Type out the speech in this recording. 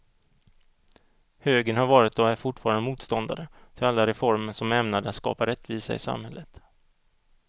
Högern har varit och är fortfarande motståndare till alla reformer som är ämnade att skapa rättvisa i samhället.